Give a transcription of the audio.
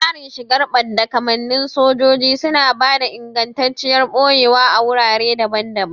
Tsarin shigar badda kamannin sojoji suna ba da ingantacciyar ɓoyewa a wurare daban-daban.